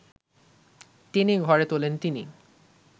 টেনে ঘরে তোলেন তিনি